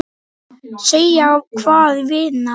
Segja hvað, vinan?